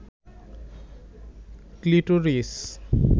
clitoris